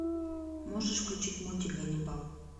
можешь включить мультик ганнибал